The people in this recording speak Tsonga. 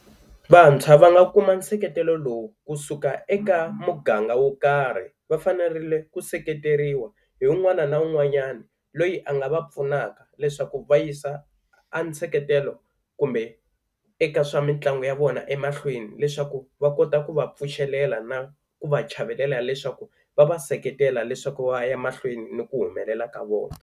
Vantshwa va nga kuma seketelo lowu kusuka eka muganga wo karhi va fanerile ku seketeriwa hi un'wana na un'wanyani loyi a nga va pfunaka leswaku va yisa a seketelo kumbe eka swa mitlangu ya vona emahlweni, leswaku va kota ku va pfuxelela na ku va chavelela leswaku va va seketela leswaku va ya mahlweni ni ku humelela ka vona.